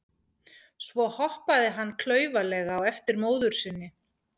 Svo hoppaði hann klaufalega á eftir móður sinni.